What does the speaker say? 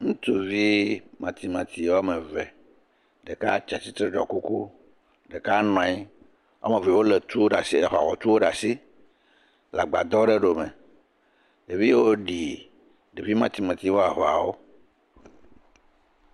Ŋutsuvi matsimatsi woame eve ɖeka ti atitre ɖɔ kuku, ɖeka nɔ anyi, woame eve wole tu ɖe asi le agbadɔ aɖe ɖome ɖeviawo ɖi ɖevi matsimatsi ƒe aʋawɔwɔ